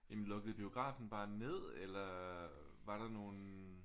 Jamen lukkede biografen bare ned eller var der nogen?